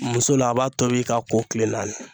Muso la a b'a tobi k'a ko kile naani.